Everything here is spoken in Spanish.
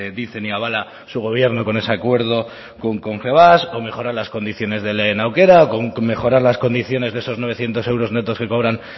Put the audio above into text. dicen y avala su gobierno con ese acuerdo con confebask o mejorar las condiciones del lehen aukera con mejorar las condiciones de esos novecientos euros netos que cobran